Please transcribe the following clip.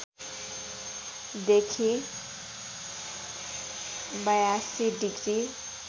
देखि ८२ डिग्री